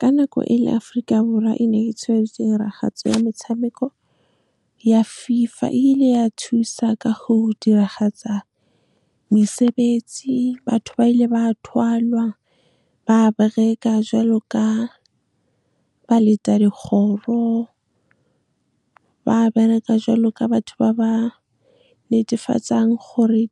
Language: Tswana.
Ka nako e le Aforika Borwa, e ne e tshwaretse tiragatso ya metshameko ya FIFA, e ile ya thusa ka go diragatsa mesebetsi. Batho ba ile ba thalwa ba bereka jwalo ka ba leta dikgoro, ba bereka jwalo ka batho ba ba netefatsang gore